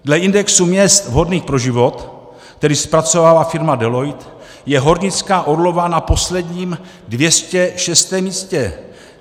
Dle indexu měst vhodných pro život, který zpracovala firma Deloitte, je hornická Orlová na posledním, 206. místě.